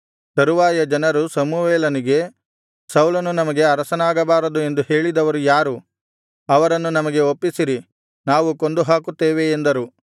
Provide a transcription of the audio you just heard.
ತರುವಾಯ ಜನರು ಸಮುವೇಲನಿಗೆ ಸೌಲನು ನಮಗೆ ಅರಸನಾಗಬಾರದು ಎಂದು ಹೇಳಿದವರು ಯಾರು ಅವರನ್ನು ನಮಗೆ ಒಪ್ಪಿಸಿರಿ ನಾವು ಕೊಂದುಹಾಕುತ್ತೇವೆ ಎಂದರು